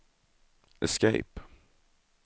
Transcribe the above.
escape